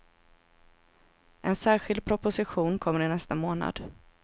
En särskild proposition kommer i nästa månad.